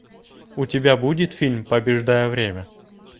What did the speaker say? у тебя будет фильм побеждая время